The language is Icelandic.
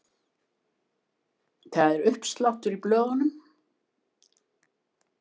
Það er uppsláttur í blöðum.